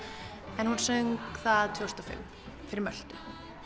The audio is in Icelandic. en hún söng það tvö þúsund og fimm fyrir Möltu